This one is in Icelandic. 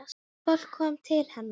Fólk kom til hennar.